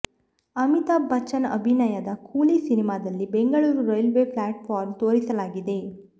ಅಮಿತಾಭ್ ಬಚ್ಚನ್ ಅಭಿನಯದ ಕೂಲಿ ಸಿನಿಮಾದಲ್ಲಿ ಬೆಂಗಳೂರು ರೈಲ್ವೆ ಪ್ಲ್ಯಾಟ್ಫಾರ್ಮ್ನ್ನು ತೋರಿಸಲಾಗಿದೆ